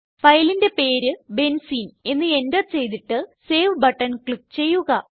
ഫയലിന്റെ പേര് ബെൻസീൻ എന്ന് എന്റർ ചെയ്തിട്ട് സേവ് ബട്ടൺ ക്ലിക്ക് ചെയുക